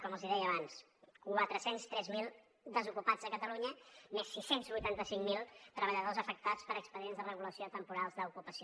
com els deia abans quatre cents i tres mil desocupats a catalunya més sis cents i vuitanta cinc mil treballadors afectats per expedients de regulació temporals d’ocupació